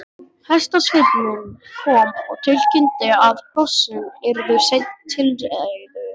Hestasveinninn kom og tilkynnti að hrossin yrðu senn til reiðu.